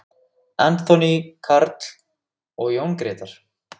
Anthony Karl og Jón Gretar.